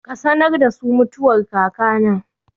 Ka sanar da su mutuwar kakana